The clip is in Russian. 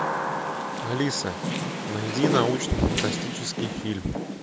алиса найди научно фантастический фильм